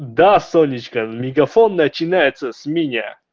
да сонечка мегафон начинается с меня